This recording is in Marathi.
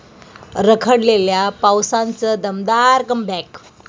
रखडलेल्या पावसाचं दमदार कमबॅक!